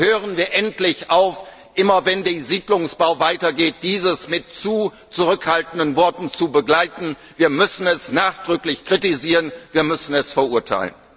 Aber hören wir endlich auf, immer wenn der Siedlungsbau weitergeht, diesen mit allzu zurückhaltenden Worten zu begleiten, wir müssen ihn nachdrücklich kritisieren, wir müssen ihn verurteilen!